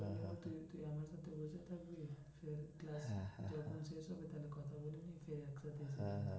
হ্যাঁ হ্যাঁ